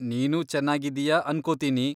ನೀನೂ ಚೆನ್ನಾಗಿದ್ದೀಯ ಅನ್ಕೊತೀನಿ!